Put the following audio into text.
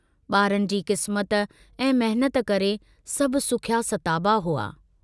बारनि जी किस्मत ऐं महिनत करे सभु सुखिया सताबा हुआ।